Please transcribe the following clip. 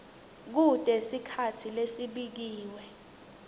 kute sikhatsi lesibekiwe